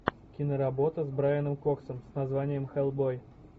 киноработа с брайаном коксом с названием хеллбой